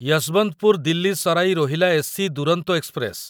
Yesvantpur Delhi Sarai Rohilla AC Duronto express